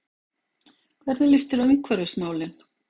Hvernig líst þér á umhverfismálin?